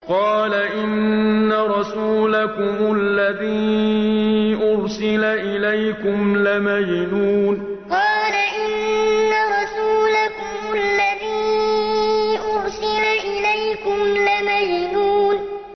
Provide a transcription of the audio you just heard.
قَالَ إِنَّ رَسُولَكُمُ الَّذِي أُرْسِلَ إِلَيْكُمْ لَمَجْنُونٌ قَالَ إِنَّ رَسُولَكُمُ الَّذِي أُرْسِلَ إِلَيْكُمْ لَمَجْنُونٌ